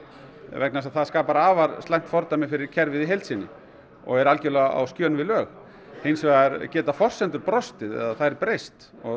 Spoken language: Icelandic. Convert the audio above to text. vegna þess að það skapar afar slæmt fordæmi fyrir kerfið í heild sinni og er algerlega á skjön við lög hins vegar geta forsendur brostið eða þær breyst og